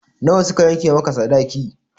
Na wa suka yanke maka sadaki?